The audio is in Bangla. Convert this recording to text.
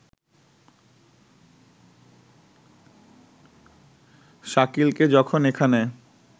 শাকিলকে যখন এখানে